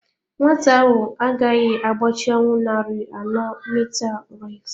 Nwa ahụ agaghị agbachanwu narị ano Metre race.